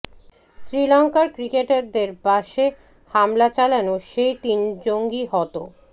শ্রীলঙ্কার ক্রিকেটারদের বাসে হামলা চালানো সেই তিন জঙ্গি হত